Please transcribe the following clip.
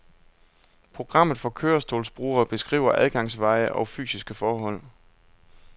Programmet for kørestolsbrugere beskriver adgangsveje og fysiske forhold.